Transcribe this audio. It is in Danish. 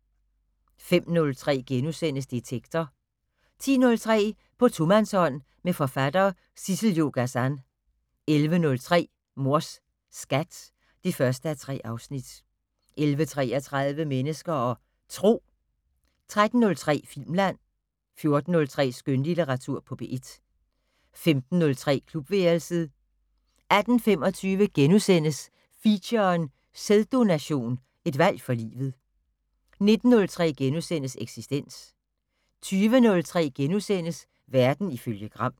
05:03: Detektor * 10:03: På tomandshånd med forfatter Sissel-Jo Gazan 11:03: Mors Skat (1:3) 11:33: Mennesker og Tro 13:03: Filmland 14:03: Skønlitteratur på P1 15:03: Klubværelset 18:25: Feature: Sæddononation, et valg for livet * 19:03: Eksistens * 20:03: Verden ifølge Gram *